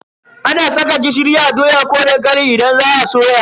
Ana saka gishiri a doya ko dankali idan za a soya.